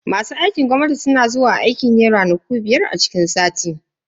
Masu aikin gwamnati suna zuwa aiki ne ranaku biyar a ciki sati.